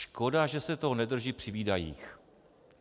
Škoda, že se toho nedrží při výdajích.